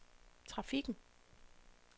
trafikken